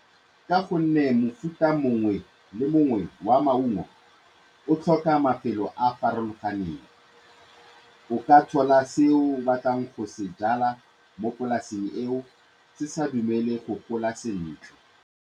Ka gonne mofuta mongwe le mongwe wa maungo o tlhoka mafelo a a farologaneng, o ka jwala seo o batlang go se jwala mo polasing eo se sa dumele go gola sentle.